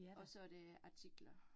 Og så det artikler